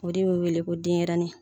O de bɛ wele ko denɲɛrɛnin.